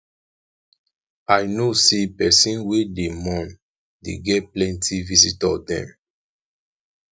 i know sey pesin wey dey mourn dey get plenty visitor dem